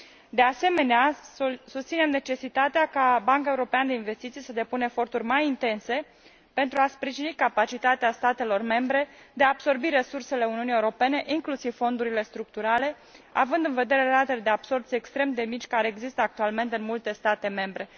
De asemenea, susținem necesitatea ca Banca Europeană de Investiții să depună eforturi mai intense pentru a sprijini capacitatea statelor membre de a absorbi resursele Uniunii Europene, inclusiv fondurile structurale, având în vedere ratele de absorbție extrem de mici care există actualmente în multe state membre.